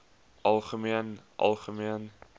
algemeen algemeen